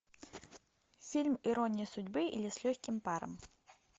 фильм ирония судьбы или с легким паром